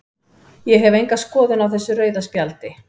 Ég hef enga skoðun á þessu rauða spjaldi.